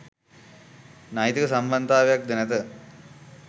නෛතික සම්බන්ධයක් ද නැත.